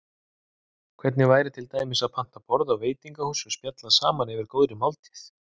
Hvernig væri til dæmis að panta borð á veitingahúsi og spjalla saman yfir góðri máltíð?